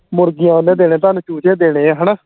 ਮੁਰਗੀਆਂ ਉਹ ਨੇ ਦੇਣੇ ਤੁਹਾਨੂੰ ਚੂਚੇ ਦੇਣੇ ਹਣਾ